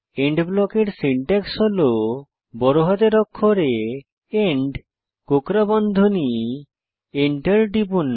and ব্লকের syntax হল বড় হাতের অক্ষরে এন্ড কোঁকড়া বন্ধনী এন্টার টিপুন